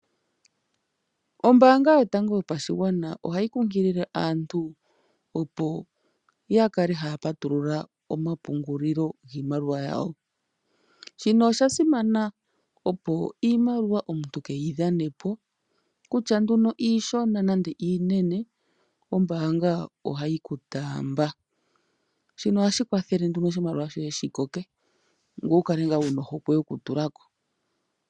Ombaanga yotango yopashigwana ohayi kunkilile aantu opo kale haya patulula omapungulilo giimaliwa yawo. Shino osha simana opo iimaliwa omuntu keyi dhane po kutya nduno iishona nande iinene ombaanga ohayi ku taamba. Shino ohashi kwathele nduno oshimaliwa shoye shi koke ngoye wu kale ngaa wuna ohokwe yoku tulako.